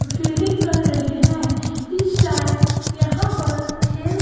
अ fielding कर रहें हैं। इस टाइम यहां पर खेल--